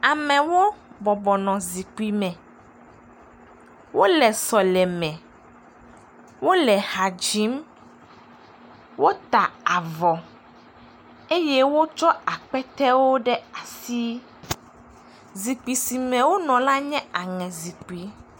Amewo bɔbɔnɔ zikpui me. Wole sɔleme. Wole ha dzim. Wota avɔ eye wotsɔ aketewo ɖe asi. Zikpui si me wonɔ la nye aŋezikpui.